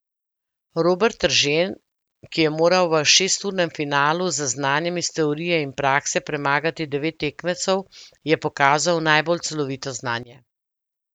Robert Eržen, ki je moral v šesturnem finalu z znanjem iz teorije in prakse premagati devet tekmecev, je pokazal najbolj celovito znanje.